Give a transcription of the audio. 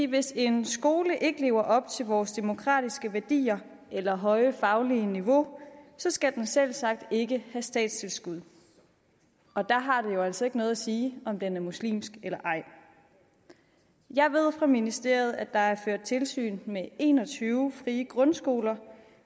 hvis en skole ikke lever op til vores demokratiske værdier eller høje faglige niveau skal den selvsagt ikke have statstilskud og der har det jo altså ikke noget at sige om den er muslimsk eller ej jeg ved fra ministeriet at der er ført tilsyn med en og tyve frie grundskoler